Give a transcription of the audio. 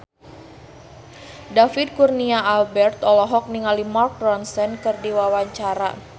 David Kurnia Albert olohok ningali Mark Ronson keur diwawancara